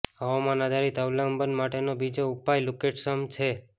હવામાન આધારિત અવલંબન માટેનો બીજો ઉપાય લુકેટ્સમ છે